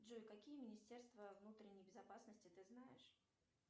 джой какие министерства внутренней безопасности ты знаешь